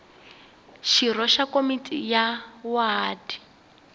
xirho xa komiti ya wadi